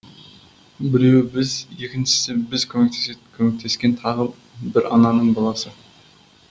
біреуі біз екіншісі біз көмектесетін көмектескен тағы бір ананың баласы